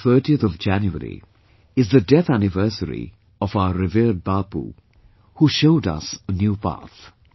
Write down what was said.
The 30 th of January is the death anniversary of our revered Bapu, who showed us a new path